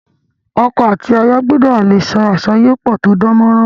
Oko àti aya gbudò le so àsoyépò to dánmórán